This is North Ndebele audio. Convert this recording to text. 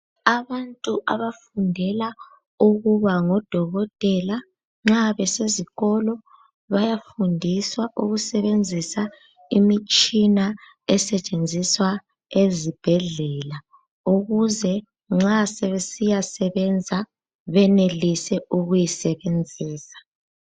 Abantu abafundela ukuba ngodokotela nxa besezikolo bayafundiswa ukusebenzisa imitshina esetshenziswa ezibhedlela ukuze nxa sebesiya sebenza benelise ukuyisebenzisa.